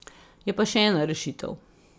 Je pa še ena rešitev.